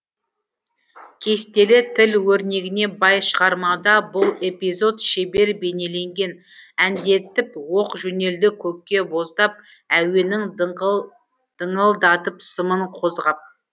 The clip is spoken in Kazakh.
кестелі тіл өрнегіне бай шығармада бұл эпизод шебер бейнеленген әндетіп оқ жөнелді көкке боздап әуенің дыңылдатып сымын қозғап